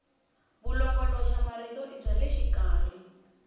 vulongoloxamarito i bya le xikarhi